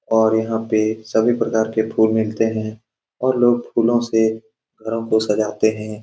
और यहाँ पे सभी प्रकार के फूल मिलते है। और लोग फूलों से दुल्हन को सजाते है।